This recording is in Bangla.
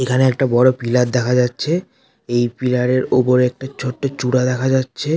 এখানে একটা বড় পিলার দেখা যাচ্ছে। এই পিলার -এর উপর একটা ছোট্ট চূড়া দেখা যাচ্ছে।